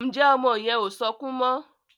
Njé ọmọ yen o sọkún mo?